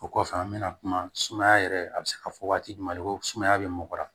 O kɔfɛ an bɛna kuma sumaya yɛrɛ a bɛ se ka fɔ waati jumɛn de ko sumaya bɛ mɔgɔ la